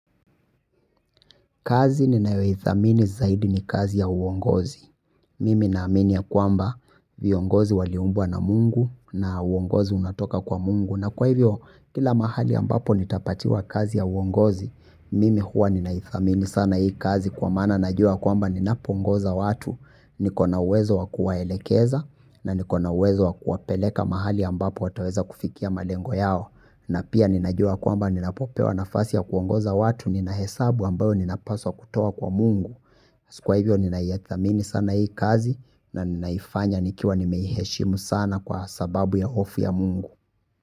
Kazi ninayoithamini zaidi ni kazi ya uongozi. Mimi naamini ya kwamba viongozi waliumbwa na mungu na uongozi unatoka kwa mungu. Na kwa hivyo, kila mahali ambapo nitapatiwa kazi ya uongozi, mimi huwa ninaithamini sana hii kazi kwa maana najua kwamba ninapoongoza watu, niko na uwezo wa kuwaelekeza na niko na uwezo wa kuwapeleka mahali ambapo wataweza kufikia malengo yao. Na pia ninajua kwamba ninapopewa nafasi ya kuongoza watu nina hesabu ambayo ninapaswa kutoa kwa mungu kwa hivyo ninaithamini sana hii kazi na ninaifanya nikiwa nimeiheshimu sana kwa sababu ya hofu ya mungu.